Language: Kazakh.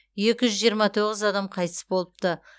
екі жүз жиырма тоғыз адам қайтыс болыпты